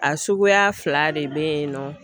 A suguya fila de bɛ yen nɔ